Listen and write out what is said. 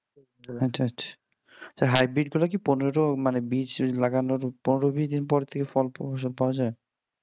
আচ্ছা আচ্ছা, এই hybrid গুলাকি পনেরো মানে বীজ লাগানোর পনের বিশ দিন পর কি ফল সব পাওয়া যায়?